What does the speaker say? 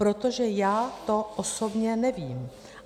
Protože já osobně to nevím.